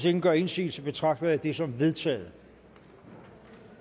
ingen gør indsigelse betragter jeg det som vedtaget